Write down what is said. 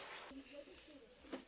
Çatdı, qurtardı.